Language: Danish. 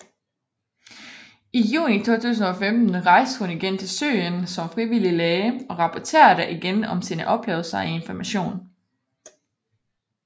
I juni 2015 rejste hun igen til Syrien som frivillig læge og rapporterede igen om sine oplevelser i Information